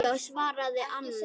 Já já, svaraði annar.